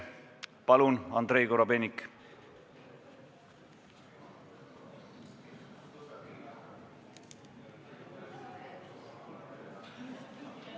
Palun, Andrei Korobeinik!